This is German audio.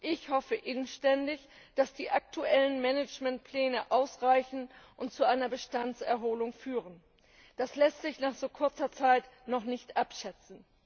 Ich hoffe inständig, dass die aktuellen Managementpläne ausreichen und zu einer Bestandserholung führen. Das lässt sich nach so kurzer Zeit noch nicht abschätzen.